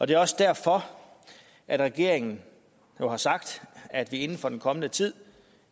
det er også derfor at regeringen jo har sagt at vi inden for den kommende tid